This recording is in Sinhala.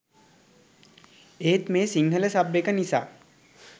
ඒත් මේ සිංහල සබ් එක නිසා